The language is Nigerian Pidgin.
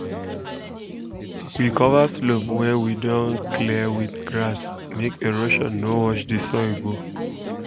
we cover slope wey we don um clear um with grass make erosion no wash the soil go